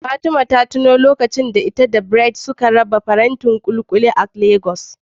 Fatima ta tuno lokacin da ita da Bright suka raba farantin kulikuli a Legas.